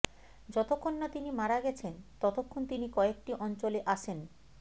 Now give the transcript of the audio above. যতক্ষণ না তিনি মারা গেছেন ততক্ষণ তিনি কয়েকটি অঞ্চলে আসেন